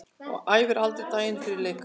Æfir aldrei daginn fyrir leik.